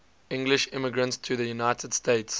english immigrants to the united states